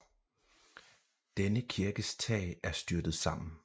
Denne kirkes tag er styrtet sammen